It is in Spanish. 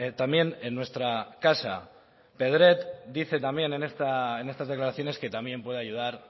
también en nuestra casa predet dice también en estas declaraciones que también puede ayudar